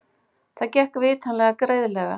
Það gekk vitanlega greiðlega.